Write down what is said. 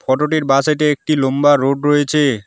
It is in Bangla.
ফটোটির বাঁসাইডে একটি লম্বা রোড রয়েছে।